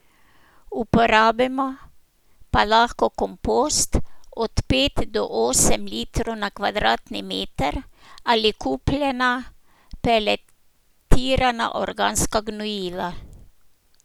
Uporabimo pa lahko kompost, od pet do osem litrov na kvadratni meter, ali kupljena peletirana organska gnojila.